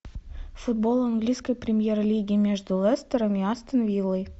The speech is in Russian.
футбол английской премьер лиги между лестером и астон виллой